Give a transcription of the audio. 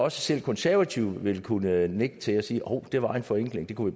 at selv de konservative vil kunne nikke til det og sige hov det var en forenkling det kunne